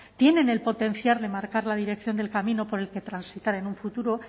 tienen el potencial de marcar la dirección del camino por el que transitar en un futuro